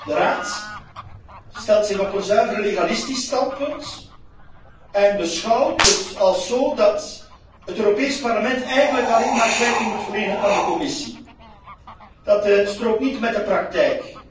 De Raad stelt zich op een zuiver legalistisch standpunt en is van mening dat het Europees Parlement eigenlijk alleen maar kwijting moet verlenen aan de Commissie. Dat strookt niet met de praktijk.